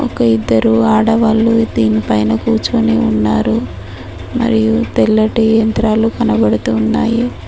ఒక ఇద్దరు ఆడవాళ్ళు దీని పైన కూర్చుని ఉన్నారు మరియు తెల్లటి యంత్రాలు కనబడుతున్నాయి.